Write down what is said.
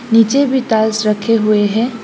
नीचे भी टाइल्स रखे हुए है।